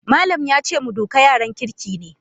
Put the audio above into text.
Malam yace mu duka yaran kirki ne.